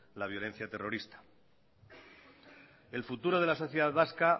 la violencia terrorista el futuro de la sociedad vasca